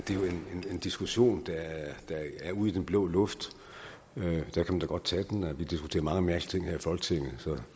jo en diskussion der er er ud i den blå luft man kan da godt tage den vi diskuterer mange mærkelige ting her i folketinget så